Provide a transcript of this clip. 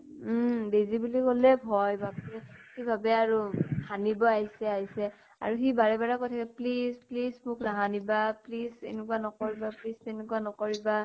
উম । বেজি বুলি কʼলে ভয়, বাপৰে । সি ভাবে আৰু হানিব আইছে আইছে । আৰু সি বাৰে বাৰে কৈ থাকে please please মোক নাহানিবা । please এনেকুৱা নকৰিবা । please তেনেকুৱা নকৰিবা ।